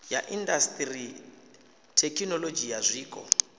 ya indasiṱiri thekinolodzhi ya zwiko